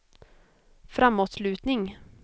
framåtlutning